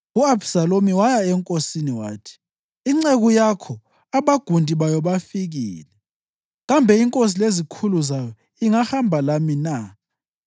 U-Abhisalomu waya enkosini wathi, “Inceku yakho abagundi bayo bafikile. Kambe inkosi lezikhulu zayo ingahamba lami na?”